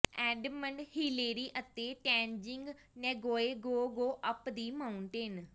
Edmund Hillary ਅਤੇ Tenzing Norgay go go up the mountain